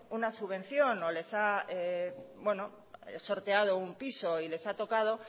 una subvención o les ha sorteado un piso y les ha tocado